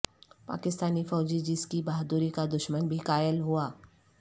پاکستانی فوجی جس کی بہادری کا دشمن بھی قائل ہوا